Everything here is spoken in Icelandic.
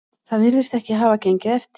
Það virðist ekki hafa gengið eftir